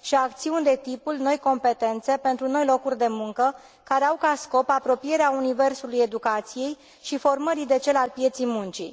și acțiuni de tipul Noi competențe pentru noi locuri de muncă, care au ca scop apropierea universului educației și formării de cel al pieței muncii.